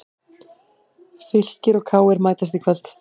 Fylkir og KR mætast í kvöld